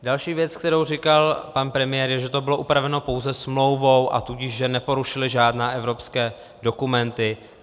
Další věc, kterou říkal pan premiér, je, že to bylo upraveno pouze smlouvou, a tudíž, že neporušili žádné evropské dokumenty.